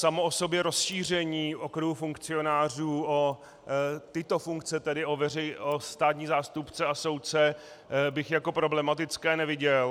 Samo o sobě rozšíření okruhu funkcionářů o tyto funkce, tedy o státní zástupce a soudce, bych jako problematické neviděl.